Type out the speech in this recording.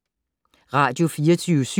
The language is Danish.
Radio24syv